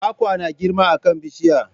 Kwakwa na girma a kan bishiya.